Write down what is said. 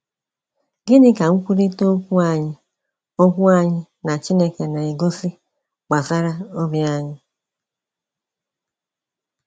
Gịnị ka nkwurịta okwu anyị okwu anyị na Chineke na-egosi gbasara obi anyị?